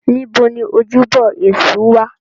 Níbo ni ojúbọ Èṣù wà?